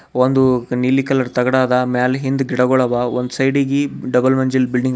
ಒಂದು ನೀಲಿ ಕಲರ್ ತಗಡದ ಮ್ಯಾಲ್ ಹಿಂದು ಗಿಡಗಳವ ಒಂದ್ ಸೈಡಿಗಿ ಡಬಲ್ ವಂಜಿಲ್ ಬಿಲ್ಡಿಂಗ್ ಅ--